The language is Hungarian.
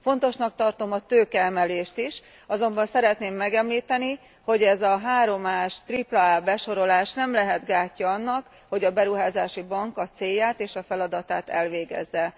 Fontosnak tartom a tőkeemelést is, azonban szeretném megemlíteni, hogy ez a három A s, tripla A besorolás nem lehet gátja annak, hogy a beruházási bank a célját és a feladatát elvégezze.